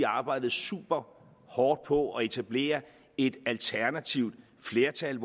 arbejdede superhårdt på at etablere et alternativt flertal